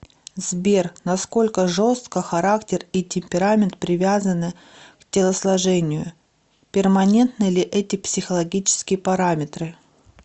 сбер насколько жестко характер и темперамент привязаны к телосложению перманентны ли эти психологические параметры